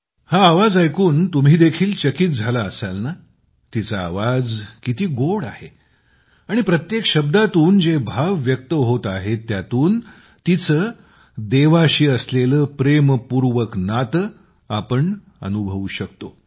हा आवाज ऐकून तुम्ही देखील चकीत झाला असाल ना तिचा आवाज किती गोड आहे आणि प्रत्येक शब्दातून जे भाव व्यक्त होत आहेत त्यातून तिचे देवाशी असलेले प्रेमपूर्वक नाते आपण अनुभवू शकतो